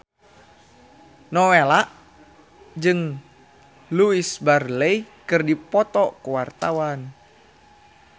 Nowela jeung Louise Brealey keur dipoto ku wartawan